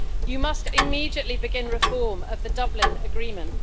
You must immediately begin reform of the Dublin Agreement.